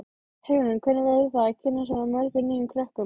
Hugrún: Hvernig verður það að kynnast svona mörgum nýjum krökkum?